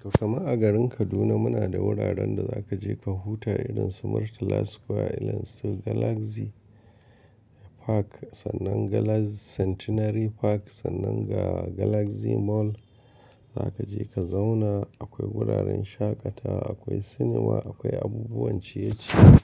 To kaman a garin Kaduna muna da wuraren da za ka je ka huta irin su Murtala Square, irin su Galaxy Park sannan ga Centenary Park, sannan ga Galaxy Mall. Za ka je ka zauna, akwai wuraren shaƙatawa, akwai cinema, akwai abubuwan ciye-ciye